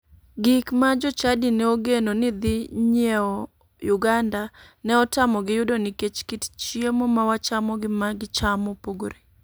Gik ma jochadi ne ogeno ni dhinyiewo uganda ne otamogi yudo nikech kit chiemo ma wachamo gi ma gichamo opogore.